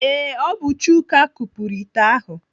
Ee, ọ bụ Chuka kupuru ite ahụ.